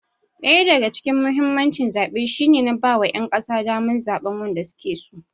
Wani daga cikin muhimmancin zaɓe shi ne na ba wa ƴan ƙasa daman zaɓan wanda suke so.